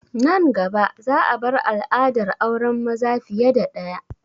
Nan gaba za a bar al'adar auren maza fiye da ɗaya